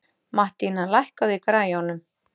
Mattína, lækkaðu í græjunum.